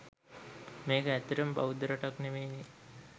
මේක ඇත්තටම බෞද්ධ රටක් නෙමෙයිනේ.